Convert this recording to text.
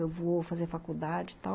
Eu vou fazer faculdade e tal.